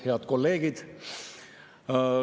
Head kolleegid!